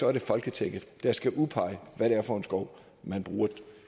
er det folketinget der skal udpege hvad det er for en skov man bruger